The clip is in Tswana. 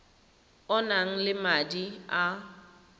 o nang le madi a